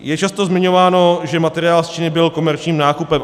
Je často zmiňováno, že materiál z Číny byl komerčním nákupem.